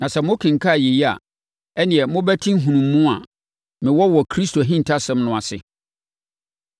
Na sɛ mokenkan yei a, ɛnneɛ mobɛte nhunumu a me wɔ wɔ Kristo ahintasɛm ho no ase,